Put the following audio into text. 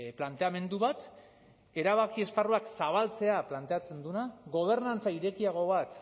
planteamendu bat erabaki esparruak zabaltzea planteatzen duena gobernantza irekiago bat